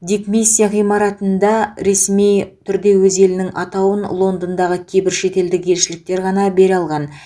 дипмиссия ғимаратына ресми түрде өз елінің атауын лондондағы кейбір шетелдік елшіліктер ғана бере алған